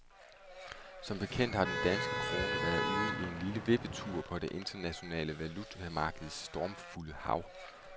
Som bekendt har den danske krone været ude i en lille vippetur på det internationale valutamarkeds stormfulde hav.